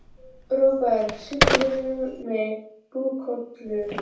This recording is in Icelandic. Robert, syngdu fyrir mig „Búkalú“.